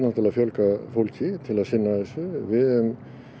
fjölga fólki til þess að sinna þessu við höfum